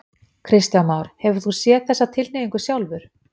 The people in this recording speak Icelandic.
Kristján Már: Hefur þú séð þessa tilhneigingu sjálfur?